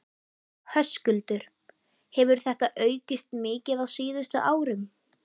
Höskuldur: Hefur þetta aukist mikið á síðustu árum?